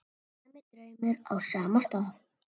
Sami draumur á sama stað.